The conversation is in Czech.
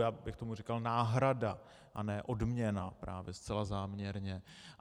Já bych tomu říkal náhrada, a ne odměna, právě zcela záměrně.